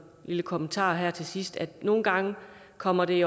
lille kommentar her til sidst at nogle gange kommer det